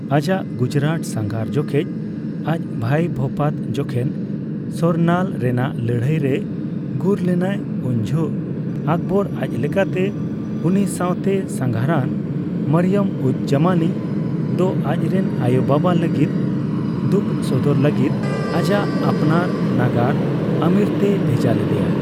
ᱟᱡᱟᱜ ᱜᱩᱡᱽᱨᱟᱴ ᱥᱟᱸᱜᱷᱟᱨ ᱡᱚᱠᱷᱮᱡ ᱟᱡ ᱵᱷᱟᱹᱭ ᱵᱷᱳᱯᱟᱛ ᱡᱚᱠᱷᱚᱱ ᱥᱚᱨᱱᱟᱞ ᱨᱮᱱᱟᱜ ᱞᱟᱹᱲᱦᱟᱹᱭ ᱨᱮᱭ ᱜᱩᱨ ᱞᱮᱱᱟᱭ, ᱩᱱ ᱡᱚᱦᱚᱜ ᱟᱠᱵᱚᱨ ᱟᱡᱽ ᱞᱮᱠᱟᱛᱮ ᱩᱱᱤ ᱥᱟᱣᱛᱮ ᱥᱟᱸᱜᱷᱟᱨᱟᱱ ᱢᱟᱨᱤᱭᱚᱢ ᱼᱩᱡᱼᱡᱟᱢᱟᱱᱤ ᱫᱚ ᱟᱡ ᱨᱮᱱ ᱟᱭᱳ ᱵᱟᱵᱟ ᱞᱟᱹᱜᱤᱫ ᱫᱩᱠᱷ ᱥᱚᱫᱚᱨ ᱞᱟᱹᱜᱤᱫ ᱟᱡᱟᱜ ᱟᱯᱱᱟᱨ ᱱᱟᱜᱟᱨ ᱟᱢᱮᱨ ᱛᱮᱭ ᱵᱷᱮᱡᱟ ᱞᱮᱫᱮᱭᱟ ᱾